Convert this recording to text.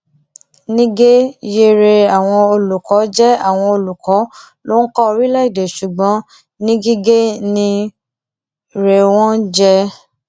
nígẹ yéé rẹ àwọn olùkọ jẹ àwọn olùkọ ló ń kọ orílẹèdè ṣùgbọn ngige ń rẹ wọn jẹ